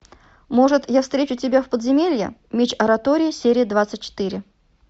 может я встречу тебя в подземелье меч оратории серия двадцать четыре